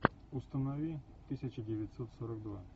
установи тысяча девятьсот сорок два